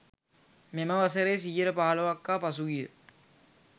මෙම වසරේ 15%ක් හා පසුගිය...